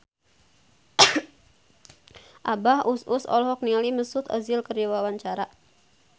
Abah Us Us olohok ningali Mesut Ozil keur diwawancara